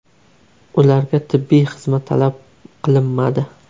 Ularga tibbiy xizmat talab qilinmadi.